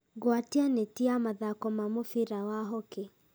gwatia neti ya mathaako ma mũbira wa hockey